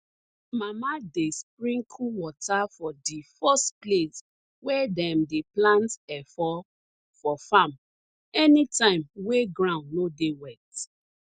mama dey sprinkle wata for di first place wey dem dey plant efo for farm anytime wey ground no dey wet